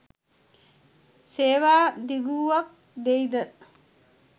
සේවා දිගුවක් දෙයි ද